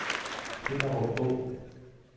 Hinnerup Å